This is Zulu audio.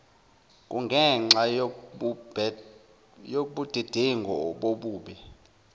kungenxa yobudedengu obube